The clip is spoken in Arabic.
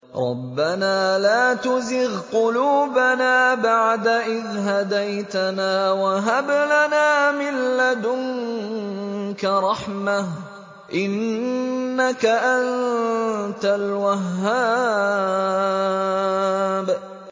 رَبَّنَا لَا تُزِغْ قُلُوبَنَا بَعْدَ إِذْ هَدَيْتَنَا وَهَبْ لَنَا مِن لَّدُنكَ رَحْمَةً ۚ إِنَّكَ أَنتَ الْوَهَّابُ